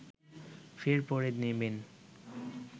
ফের পরে নেবেন